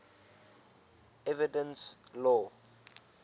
evidence law